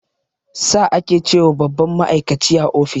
"Sir" ake ce wa babban ma'aikaci a office